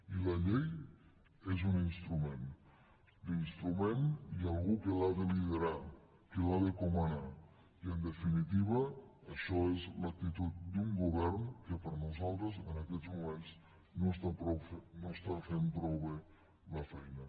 i la llei és un instrument l’instrument i algú que l’ha de liderar que la de comanar i en definitiva això és l’actitud d’un govern que per nosaltres en aquests moments no està fent prou bé la feina